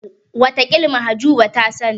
Wataƙila Mahjuba ta sani.